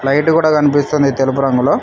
Light కూడా కనిపిస్తున్నది తెలుపు రంగులో.